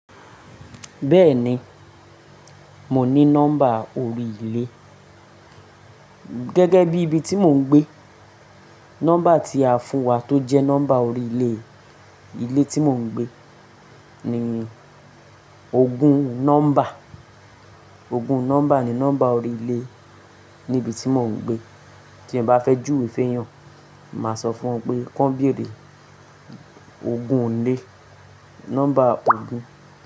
Bẹ́ẹ̀ni, mo ní nọ́mbà orí ilé. Gẹ́gẹ́ bí ibi tí mò ń gbé, nọ́mbà tí a fún wa tó jẹ́ nọ́mbà orí ilé, ilé tí mò ń gbé ni ogún nọ́mbà, ogún nọ́mbà ni nọ́mbà orí ilé níbi tí mò ń gbé. Tí ẹ bá fẹ́ jú we fẹ́ yàn, máa sọ fún wọ pé kí wọ́n bèrè ogún ilè, nọ́mbà ogún.